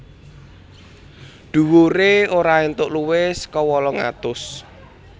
Dhuwuré ora entuk luwih saka wolung atus